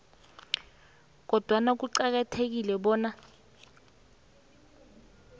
kodwana kuqakathekile bona